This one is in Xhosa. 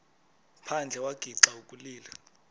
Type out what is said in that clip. phandle wagixa ukulila